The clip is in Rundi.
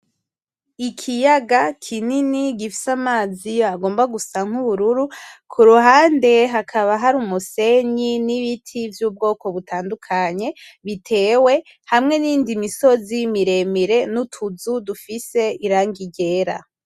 Ikiyaga kinini gifise amazi agomba gusa nk’ubururu, ku ruhande hakaba hari umusenyi n’ibiti vy’ ubwoko butandukanye bitewe hamwe n’iyindi misozi miremire, n’utuzu dufise irangi ryera.